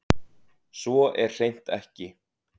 Svo er hreint ekki